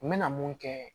N bɛna mun kɛ